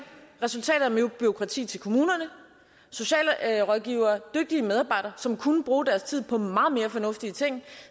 resultatet er mere bureaukrati til kommunerne socialrådgivere dygtige medarbejdere som kunne bruge deres tid på meget mere fornuftige ting